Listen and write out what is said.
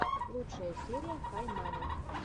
лучшая серия хай мэна